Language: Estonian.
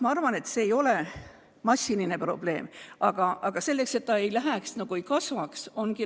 Ma arvan, et see ei ole massiline probleem, aga et see ei kasvaks, on vaja seadust muuta.